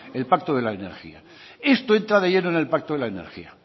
el pacto de la energía esto entra de lleno en el pacto de la energía